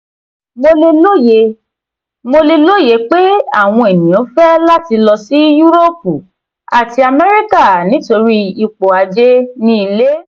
"mo le loye "mo le loye pe awọn eniyan fẹ lati lọ si yuroopu ati amẹrika nitori ipo aje ni ile.